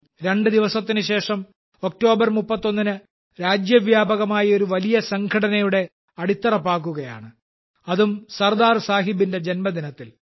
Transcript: രണ്ട് ദിവസത്തിന് ശേഷം ഒക്ടോബർ 31 ന് രാജ്യവ്യാപകമായി ഒരു വലിയ സംഘടനയുടെ അടിത്തറ പാകുകയാണ് അതും സർദാർ സാഹിബിന്റെ ജന്മദിനത്തിൽ